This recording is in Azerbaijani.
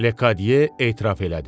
Lekadiye etiraf elədi.